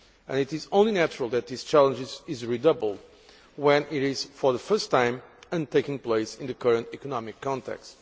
And it is only natural that this challenge is redoubled when it is for the first time, and taking place in the current economic context.